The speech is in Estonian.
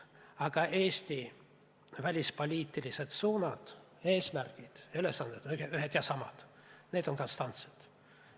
Aga Eesti välispoliitilised suunad, eesmärgid, ülesanded on ühed ja samad, need on konstantsed.